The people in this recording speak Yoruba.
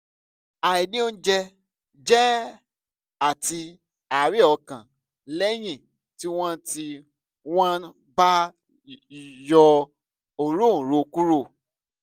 àìní oúnjẹ jẹ àti àárẹ̀ ọkàn lẹ́yìn tí wọ́n tí wọ́n bá yọ òróǹro kúrò